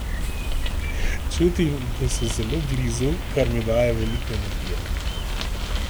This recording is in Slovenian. Čutim, da so zelo blizu, kar mi daje veliko energije.